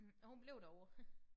Og hun blev derovre